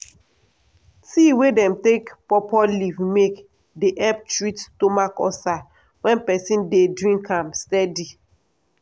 tea wey dem take pawpaw leaf make dey help treat stomach ulcer wen peson dey drink am steady.